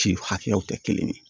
Si hakɛyaw tɛ kelen ye